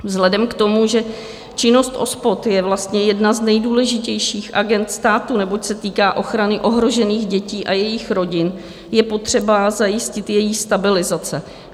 Vzhledem k tomu, že činnost OSPOD je vlastně jedna z nejdůležitějších agend státu, neboť se týká ochrany ohrožených dětí a jejich rodin, je potřeba zajistit její stabilizaci.